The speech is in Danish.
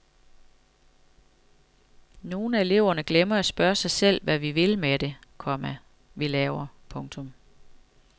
Nogle af eleverne glemmer at spørge sig selv hvad vi vil med det, komma vi laver. punktum